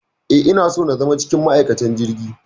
Eh, ina so na zama cikin ma'aikatan jirgin.